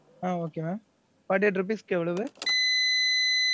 ஆஹ் okay mam. forty eight rupees க்கு எவ்வளவு?